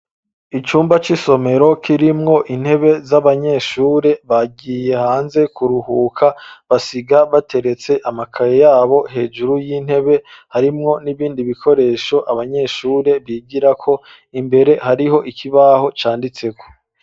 Icumba c'isomero, kirimwo intebe, z'abanyeshure; bagiye hanze kuruhuka, basiga bateretse amakaye yabo, hejuru y'intebe; harimwo n'ibindi bikoresho, abanyeshure bigirako, imbere hariho ikibaho, canditseko.